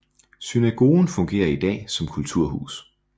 Synagogen fungerer i dag som kulturhus